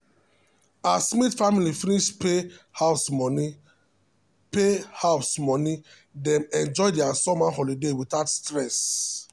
as smith family finish pay house money pay house money dem enjoy their summer holiday without stress.